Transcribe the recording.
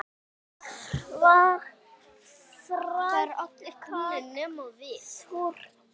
Værirðu til í það?